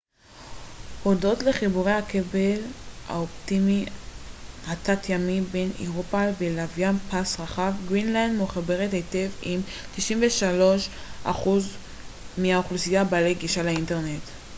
הודות לחיבורי הכבל האופטי התת-ימי בין אירופה ולוויין פס רחב גרינלנד מחוברת היטב עם 93% מהאוכלוסייה בעלי גישה לאינטרנט